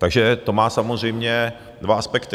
Takže to má samozřejmě dva aspekty.